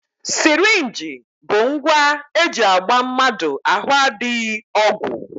Sirinji bụ ngwa e ji agba mmadụ ahụ adịghị ọgwụ